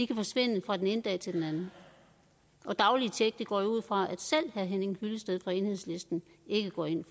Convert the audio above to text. kan forsvinde fra den ene dag til den anden og daglige tjek går jeg ud fra at selv herre henning hyllested fra enhedslisten ikke går ind